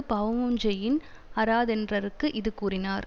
பாவமுஞ் செய்யின் அறாதென்றற்கு இது கூறினார்